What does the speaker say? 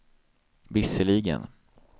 visserligen